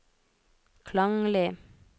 klanglig